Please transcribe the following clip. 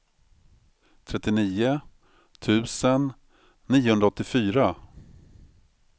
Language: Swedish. trettionio tusen niohundraåttiofyra